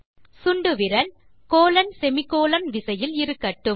சுண்டுவிரல் colonsemi colon விசையில் இருக்கட்டும்